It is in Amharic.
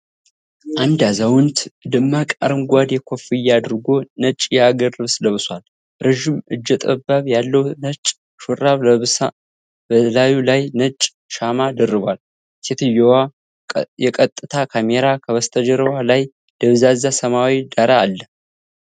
አንዲ አዛውንት ደማቅ አረንጓዴ ኮፍያ አድርጎ ነጭ የሀገር ልብስ ለብሳሷል። ረዥም እጀ ጠባብ ያለው ነጭ ሹራብ ለብሳ በላዩ ላይ ነጭ ሻማ ደርባቧል። ሴትየዋ የቀጥታ ካሜራ ከበስተጀርባዋ ላይ ደብዛዛ ሰማያዊ ዳራ አለ።